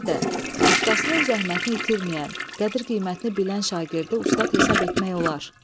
Əlbəttə, ustasının zəhmətini itirməyən, qədir-qiymətini bilən şagirdi ustad hesab etmək olar.